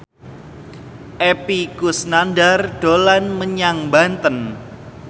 Epy Kusnandar dolan menyang Banten